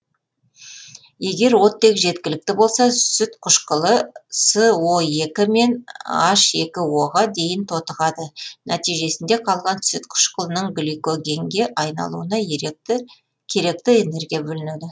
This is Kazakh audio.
егер оттек жеткілікті болса сүт қышқылы со екі мен н екі о ға дейін тотығады нәтижесінде қалған сүт қышқылының гликогенге айналуына еректі керекті энергия бөлінеді